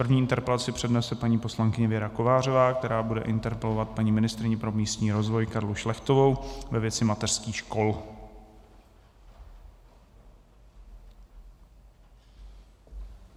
První interpelaci přednese paní poslankyně Věra Kovářová, která bude interpelovat paní ministryni pro místní rozvoj Karlu Šlechtovou ve věci mateřských škol.